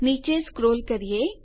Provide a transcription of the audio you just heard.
નીચે સ્ક્રોલ કરીએ